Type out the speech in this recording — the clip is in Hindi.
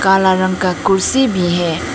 हला रंग का कुर्सी भी है।